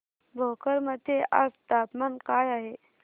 भोकर मध्ये आज तापमान काय आहे